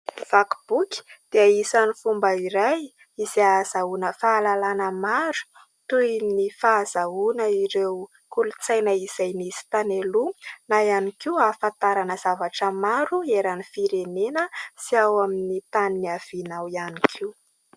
Vaky boky dia isany fomba iray izay azahoana fahalalana maro toy ny fahazahoana ireo kolontsaina izay nisy tany aloha na ihany koa ahafantarana zavatra maro eran'ny firenena sy ao amin'ny tany nihavianao.